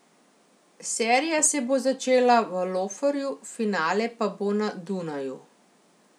Serija se bo začela v Loferju, finale pa bo na Dunaju.